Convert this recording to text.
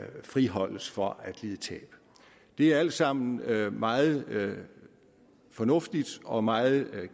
friholdes for at lide tab det er alt sammen meget meget fornuftigt og meget